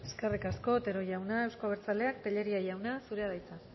eskerrik asko otero jauna euzko abertzaleak tellería jauna zurea da hitza